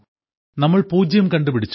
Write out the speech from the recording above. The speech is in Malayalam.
നമ്മൾ പൂജ്യം കണ്ടുപിടിച്ചു